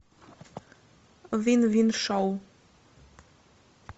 вин вин шоу